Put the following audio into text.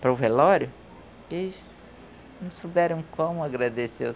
para o velório, que eles não souberam como agradecer o